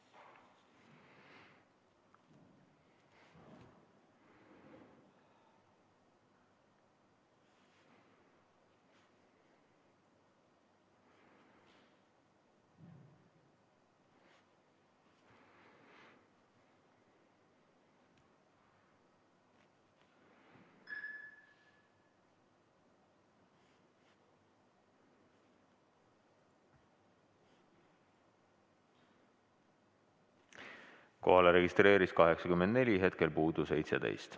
Kohalolijaks registreerus 84 Riigikogu liiget, hetkel puudub 17.